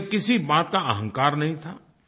उन्हें किसी बात का अहंकार नहीं था